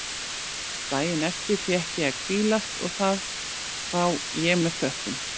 Daginn eftir fékk ég að hvílast og það þá ég með þökkum.